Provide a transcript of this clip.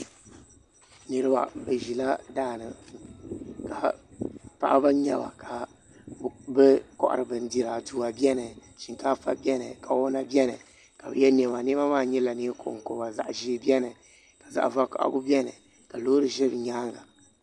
Niraba bi ʒila daani paɣaba n nyɛba ka bi kohari bindira aduwa biɛni shinkaafa biɛni kawana biɛni ka bi yɛ niɛma niɛma maa nyɛla neen konkoba zaɣ ʒiɛ biɛni ka zaɣ vakaɣali biɛni ka loori ʒɛ bi nyaanga